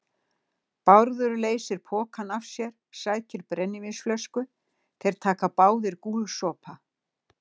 Bárður leysir pokann af sér, sækir brennivínsflösku, þeir taka báðir gúlsopa.